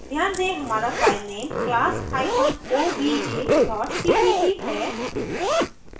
ध्यान दें हमारा filename class hyphen obj dot cpp है